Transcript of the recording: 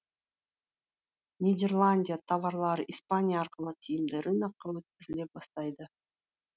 нидерландия товарлары испания арқылы тиімді рынокқа өткізіле бастайды